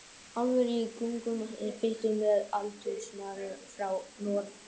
Álfatrúin er gömul og innflutt með landnámsmönnum frá Noregi.